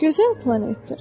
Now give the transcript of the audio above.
Gözəl planetdir.